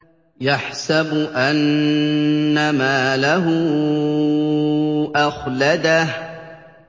يَحْسَبُ أَنَّ مَالَهُ أَخْلَدَهُ